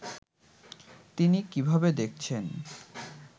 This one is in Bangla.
তিনি কীভাবে দেখছেন